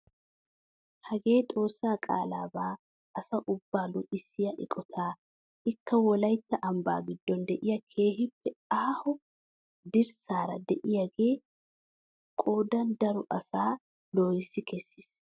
Hagee xoossaa qaalabaa asa ubbaa luxissiyaa eqotaa ikka wolaytta ambbaa giddon de'iyaa keehippe aaho dirassaara de'iyaagee qoodan daro asaa lohissi kessiis.